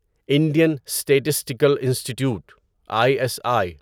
Indian statistical institute I S I